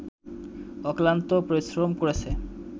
অক্লান্ত পরিশ্রম করেছে